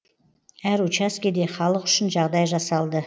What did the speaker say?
әр учаскеде халық үшін жағдай жасалды